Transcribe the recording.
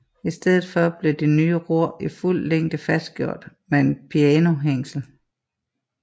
I stedet for blev de nye ror i fuld længde fastgjort med et pianohængsel